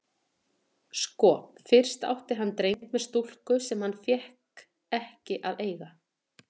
Sko, fyrst átti hann dreng með stúlku sem hann fékk ekki að eiga.